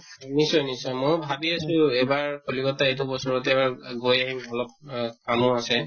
নিশ্চয় নিশ্চয় ময়ো ভাবি আছো এবাৰ কলিকত্তা এইটো বছৰতে এবাৰ গৈ আহিম অলপ অহ কামো আছে